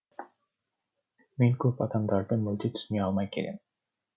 мен көп адамдарды мүлде түсіне алмай келем